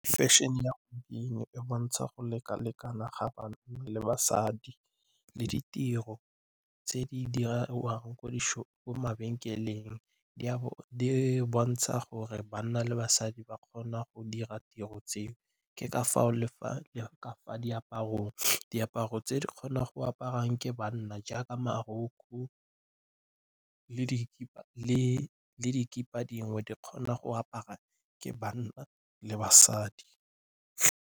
Fešene e bontsha go lekalekana ga banna le basadi le ditiro tse di diriwang ko mabenkeleng. Diaparo di bontsha gore banna le basadi ba kgona go dira tiro tseo ke ka foo le fa diaparong, diaparo tse di kgonang go apara ke banna jaaka marokgo le dikipa dingwe di kgona go apara ke banna le basadi.